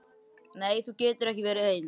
Nei þú getur ekki verið ein.